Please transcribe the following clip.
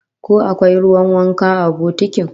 Ko akwai ruwan wanka a bokotin?